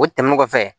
O tɛmɛnen kɔfɛ